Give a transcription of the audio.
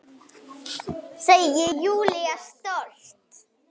Segir Júlía stolt.